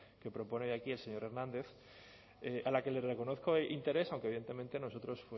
que propone hoy aquí el señor hernández a la que le reconozco interés aunque evidentemente nosotros